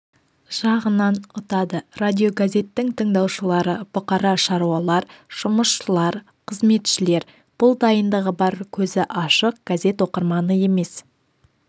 жағынан ұтады радиогазеттің тыңдаушылары бұқара шаруалар жұмысшылар қызметшілер бұл дайындығы бар көзі ашық газет оқырманы емес